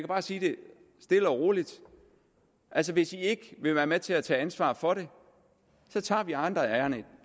bare sige det stille og roligt hvis man ikke vil være med til at tage ansvar for det tager vi andre